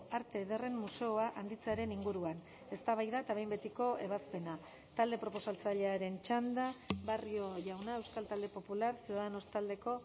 arte ederren museoa handitzearen inguruan eztabaida eta behin betiko ebazpena talde proposatzailearen txanda barrio jauna euskal talde popular ciudadanos taldeko